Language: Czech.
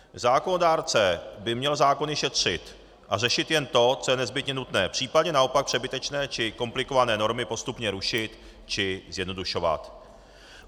Zákonodárce by měl zákony šetřit a řešit jen to, co je nezbytně nutné, případně naopak přebytečné či komplikované normy postupně rušit či zjednodušovat.